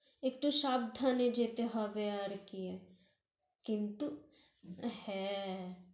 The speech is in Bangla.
একটু সাবধানে যেতে হবে আরকি, কিন্তু হ্যাঁ